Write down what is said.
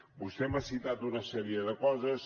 vostè m’ha citat una sèrie de coses